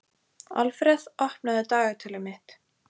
Alfreð, opnaðu dagatalið mitt.